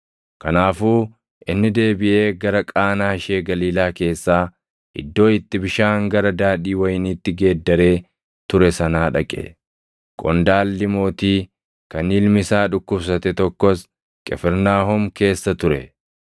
Kanaafuu inni deebiʼee gara Qaanaa ishee Galiilaa keessaa iddoo itti bishaan gara daadhii wayiniitti geeddaree ture sanaa dhaqe. Qondaalli mootii kan ilmi isaa dhukkubsate tokkos Qifirnaahom keessa ture.